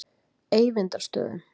Eyvindarstöðum